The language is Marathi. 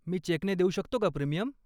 मी चेकने देऊ शकतो का प्रीमियम?